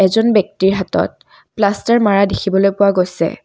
এজন ব্যক্তিৰ হাতত প্লাষ্টাৰ মাৰা দেখিবলৈ পোৱা গৈছে।